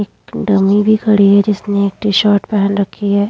एक डम्मी भी खड़ी है जिसने एक टी-शर्ट पहन रखी है।